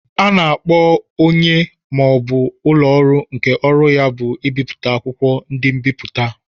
A na-akpọ onye ma ọ bụ ụlọ ọrụ nke ọrụ ya bụ ibipụta akwụkwọ, ndi nbiputa.